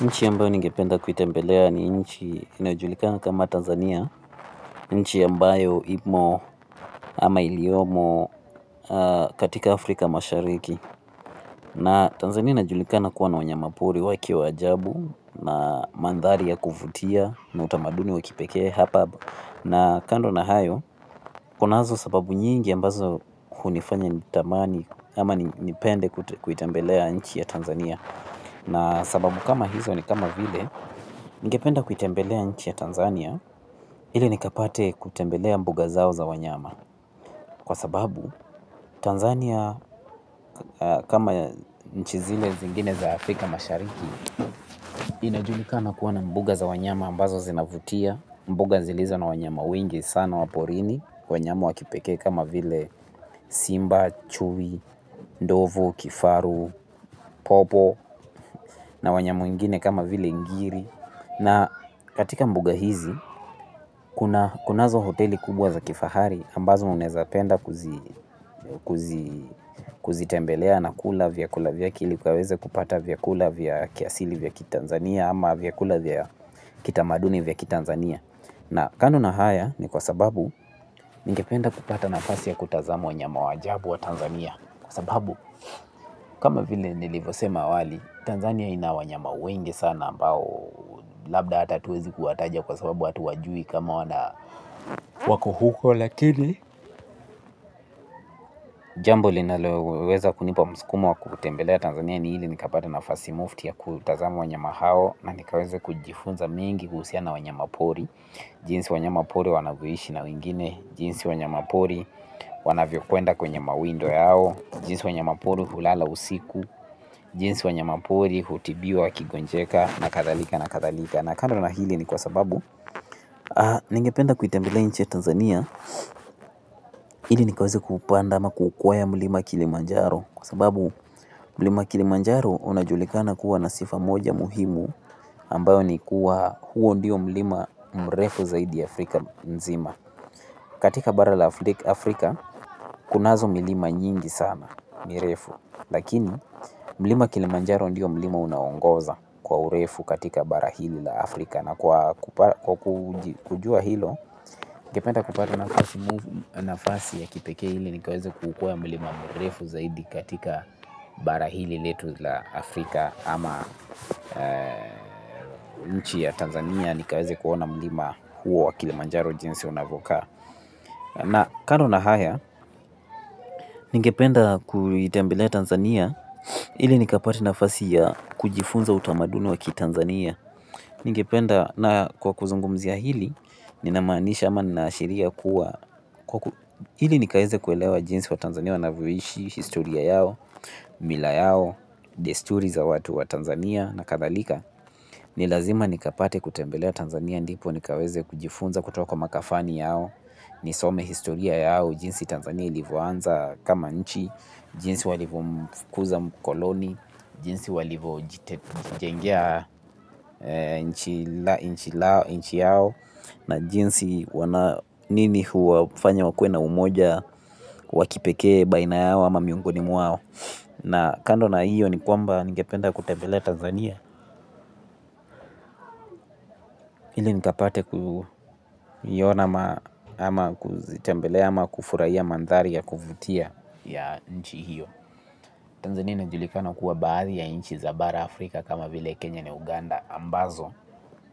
Nchi ambayo ningependa kuitembelea ni nchi inajulikana kama Tanzania, nchi ambayo imo ama iliomo katika Afrika mashariki. Na Tanzania najulikana kuwa na wanyamapori wake wa ajabu na mandhari ya kuvutia na utamaduni wa kipekee hapab. Na kando na hayo, kunazo sababu nyingi ambazo hunifanya nitamani ama nipende kuitembelea nchi ya Tanzania. Na sababu kama hizo ni kama vile ningependa kuitembelea nchi ya Tanzania. Ile nikapate kutembelea mbuga zao za wanyama kwa sababu Tanzania kama nchi zile zingine za Afrika mashariki. Inajulikana kuwa na mbuga za wanyama ambazo zinavutia. Mbuga zilizo na wanyama wengi sana wa porini. Wanyama wa kipekee kama vile simba, chui, ndovu, kifaru, popo. Na wanyama wengine kama vile ingiri na katika mbuga hizi, kunazo hoteli kubwa za kifahari ambazo unaezapenda kuzitembelea na kula vyakula vyake ili ukaweze kupata vyakula vya kiasili vya Tanzania ama vyakula vya kitamaduni vya kiTanzania. Na kanu na haya ni kwa sababu ningependa kupata nafasi ya kutazama wanyama wa ajabu wa Tanzania. Kwa sababu kama vile nilivosema awali Tanzania ina wanyama wengi sana ambao labda ata atuwezi kuwataja kwa sababu hatuwajui kama wana wako huko lakini jambo linaloweza kunipa msukumo wa kutembelea tanzania ni ili nikapate nafasi mufti ya kutazama wanyama hao na nikaweze kujifunza mengi kuhusiana na wanyamapori jinsi wanyamapori wanavyoishi na wengine jinsi wanyamapori wanavyokwenda kwenye mawindo yao. Jinsi wanyamapori hulala usiku. Jinsi wanyamapori hutibiwa wakigonjeka na kathalika na kathalika. Na kando na hili ni kwa sababu ningependa kuitembelea nchi ya tanzania ili nikaweze kuupanda ama kuukwea mlima kilimanjaro kwa sababu mlima kilimanjaro unajulikana kuwa na sifa moja muhimu ambayo ni kuwa huo ndiyo mlima mrefu zaidi Afrika nzima. Katika bara la Afrika kunazo milima nyingi sana mirefu. Lakini mlima kilimanjaro ndiyo mlima unaoongoza kwa urefu katika bara hili la Afrika. Na kwa kujua hilo, ningependa kupata nafasi ya kipekee ili nikaweze kuukwea mlima mrefu zaidi katika bara hili letu la Afrika. Ama nchi ya Tanzania nikaweze kuona mlima huo wa kilimanjaro jinsi unavokaa. Na kando na haya, ningependa kuitembelea tanzania ili nikapate nafasi ya kujifunza utamaduni wa kitanzania. Ningependa na kwa kuzungumzia hili, ninamaanisha ama ninaashiria kuwa ili nikaeze kuelewa jinsi waTanzania wanavyoishi, historia yao, mila yao, desturi za watu wa Tanzania na kathalika ni lazima nikapate kutembelea tanzania ndipo nikaweze kujifunza kutoka kwa makafani yao. Nisome historia yao, jinsi Tanzania ilivoanza kama nchi, jinsi walivomfukuza mkoloni. Jinsi walivojitengea nchi yao na jinsi nini huwafanya wakuwe na umoja wa kipekee baina yao ama miongoni mwao. Na kando na iyo ni kwamba ningependa kutembelea Tanzania. Ili nikapate kuiona ama kuzitembelea ama kufuraia mandhari ya kuvutia ya nchi hiyo Tanzania inajulikana kuwa baadhi ya nchi za bara Afrika kama vile Kenya na Uganda ambazo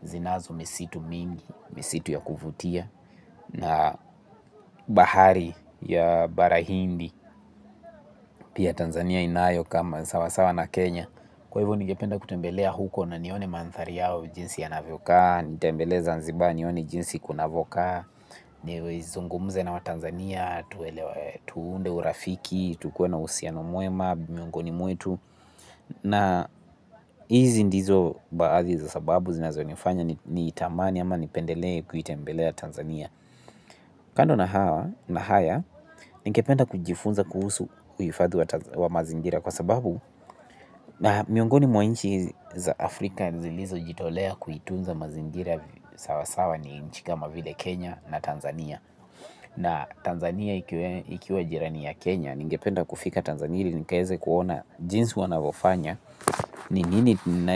zinazo misitu mingi, misitu ya kuvutia, na bahari ya bara hindi, pia Tanzania inayo kama sawasawa na Kenya. Kwa hivo ningependa kutembelea huko na nione mandhari yao jinsi yanavyokaa, nitembelee zanziba nione jinsi kunavokaa, nizungumze na watanzania, tuunde urafiki, tukuwe na uhusiano mwema, miongoni mwetu. Na hizi ndizo baathi za sababu zinazonifanya niitamani ama nipendelee kuitembelea Tanzania. Kando na haya, ningependa kujifunza kuhusu uhifadhi wa mazingira kwa sababu na miongoni mwa nchi za Afrika zilizojitolea kuitunza mazingira sawasawa ni nchi kama vile Kenya na Tanzania. Na Tanzania ikiwe jirani ya Kenya. Ningependa kufika Tanzania ili nikaeze kuona jinsi wanavofanya. Ni nini tina.